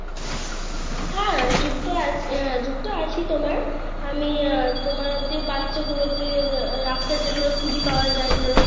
হ্যাঁ যুক্ত আছি আহ যুক্ত আছি তোমার, আমি তোমার যে বাচ্চা গুলোকে রাস্তার কুড়িয়ে পাওয়া যায় ধরো,